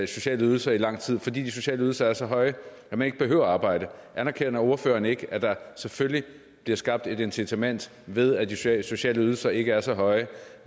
sociale ydelser i lang tid fordi de sociale ydelser er så høje at man ikke behøver at arbejde anerkender ordføreren ikke at der selvfølgelig bliver skabt et incitament ved at de sociale sociale ydelser ikke er så høje